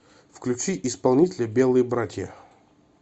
включи исполнителя белые братья